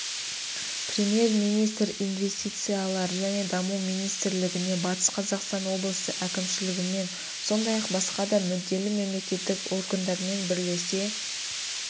премьер-министр инвестициялар және даму министрлігіне батыс қазақстан облысы әкімшілігімен сондай-ақ басқа да мүдделі мемлекеттік органдармен бірлесе